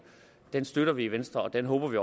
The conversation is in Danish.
støtter vi i venstre og det håber vi